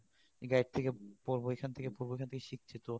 guide থেকে পড়ব এখান থেকে পড়ব ওখান থেকে পড়ব এইখান থেকে শিখছি তো